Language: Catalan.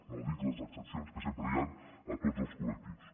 no dic les excepcions que sempre hi han a tots els collectius